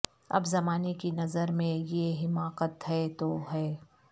اب زمانے کی نظر میں یہ حماقت ہے تو ہے